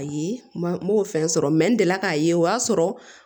Ayi ma n b'o fɛn sɔrɔ n delila k'a ye o y'a sɔrɔ